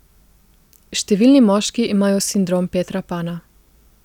Številni moški imajo sindrom Petra Pana.